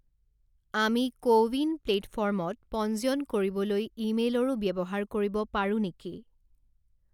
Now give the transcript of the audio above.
আমি CoWIN প্লে'টফৰ্মত পঞ্জীয়ন কৰিবলৈ ইমেইলৰো ব্যৱহাৰ কৰিব পাৰোঁ নেকি?